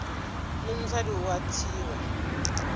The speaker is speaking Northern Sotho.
le mosadi o a thewa